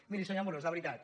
miri senyor amorós de veritat